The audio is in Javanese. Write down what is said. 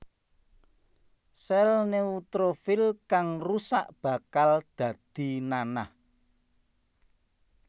Sèl neutrofil kang rusak bakal dadi nanah